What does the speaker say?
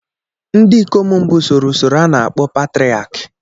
Ndị ikom mbụ soro usoro a n'akpo, patraki